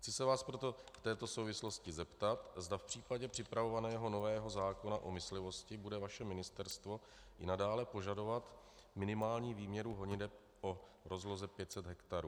Chci se vás proto v této souvislosti zeptat, zda v případě připravovaného nového zákona o myslivosti bude vaše ministerstvo i nadále požadovat minimální výměru honiteb o rozloze 500 hektarů.